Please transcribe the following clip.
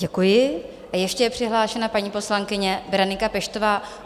Děkuji a ještě je přihlášena paní poslankyně Berenika Peštová.